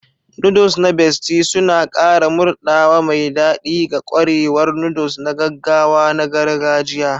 Noodles na Bestie suna ƙara murɗawa mai daɗi ga ƙwarewar noodles na gaggawa na gargajiya.